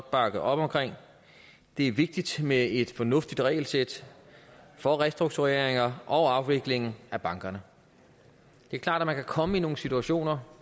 bakke op om det er vigtigt med et fornuftigt regelsæt for restruktureringer og afvikling af banker det er klart at man kan komme i nogle situationer